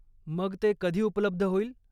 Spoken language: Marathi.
मग ते कधी उपलब्ध होईल?